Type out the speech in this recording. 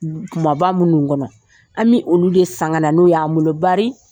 kumaba minnu kɔnɔ an bɛ olu de san ka na n'o y'an bolo bari.